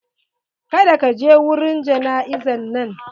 Kada ka je wurin jana'izan nan!